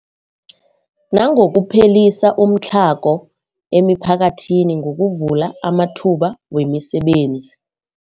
Nangokuphelisa umtlhago emiphakathini ngokuvula amathuba wemisebenzi.